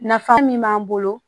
Nafa min b'an bolo